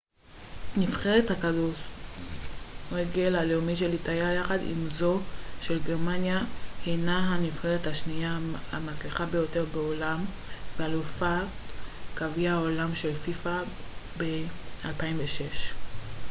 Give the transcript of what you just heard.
נבחרת הכדורגל הלאומית של איטליה יחד עם זו של גרמניה הינה הנבחרת השנייה המצליחה ביותר בעולם ואלופת גביע העולם של פיפ א ב-2006